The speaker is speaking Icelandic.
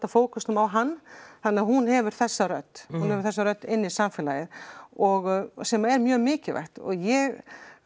fókusnum á hann þannig að hún hefur þessa rödd hún hefur þessa rödd inn í samfélagið og sem er mjög mikilvægt og ég